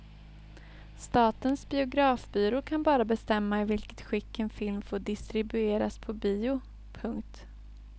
Statens biografbyrå kan bara bestämma i vilket skick en film får distribueras på bio. punkt